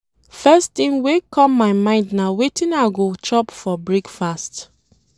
First thing wey come my mind na wetin I go chop for breakfast.